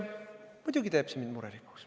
Muidugi teeb see mind murelikuks.